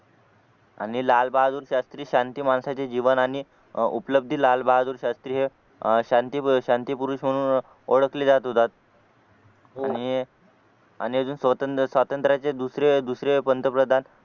आणि लालबहादूर शास्त्री शास्त्री शांती माणसाची जीवन आणि उपलब्धी लालबहादूर शास्त्रीय अह शांती अह शांती पुरुष म्हणून ओळखले जात होते आणि अह आणि अजून स्वातंत्र्य स्वातंत्र्याचे दुसरे दुसरे पंतप्रधान